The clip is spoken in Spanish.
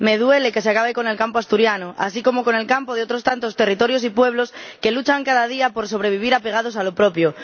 Me duele que se acabe con el campo asturiano, así como con el campo de otros tantos territorios y pueblos que luchan cada día por sobrevivir, apegados a lo propio.